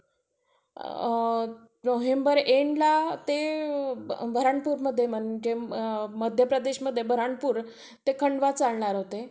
अ November एंडला ते बुऱ्हाणपूर म्हणजे मध्यप्रदेशमध्ये बुऱ्हाणपूर ते खांडवा चालणार होते.